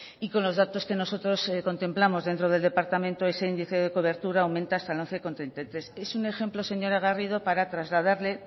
y con los datos que nosotros contemplamos dentro del departamento ese índice de cobertura aumenta hasta el once coma treinta y tres es un ejemplo señora garrido para trasladarle